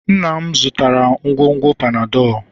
nna m zụtara ngwugwu Panadol